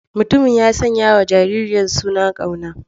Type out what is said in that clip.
Mutumin ya sanyawa jaririyar suna Kauna.